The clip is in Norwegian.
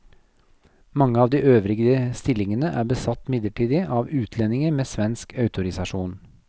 Mange av de øvrige stillingene er besatt midlertidig av utlendinger med svensk autorisasjon.